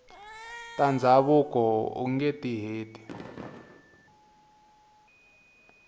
ta ndhavuko ungeti heti